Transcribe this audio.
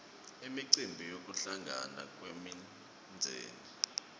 imicimbi yekuhlangana kwemindzeni